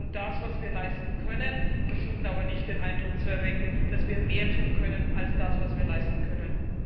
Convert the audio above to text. Wir tun das, was wir leisten können, versuchen aber nicht den Eindruck zu erwecken, dass wir mehr tun können als das, was wir leisten können.